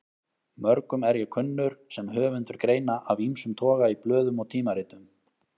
Mörgum er ég kunnur sem höfundur greina af ýmsum toga í blöðum og tímaritum.